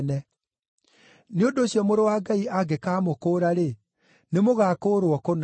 Nĩ ũndũ ũcio Mũrũ wa Ngai angĩkamũkũũra-rĩ, nĩmũgakũũrwo kũna.